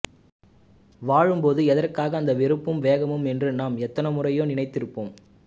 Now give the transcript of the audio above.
வாழும்போது எதற்காக அந்த வெறுப்பும் வேகமும் என்று நாம் எத்தனையோ முறை நினைத்திருப்போம்